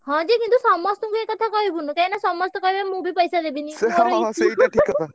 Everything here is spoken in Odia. ହଁ ଯେ କିନ୍ତୁ ସମସ୍ତଙ୍କୁ ଏକଥା କହିବୁନୁ କାହିଁକିନା ସମସ୍ତେ କହିବେ ମୁଁ ବି ପଇସା ଦେବିନି ।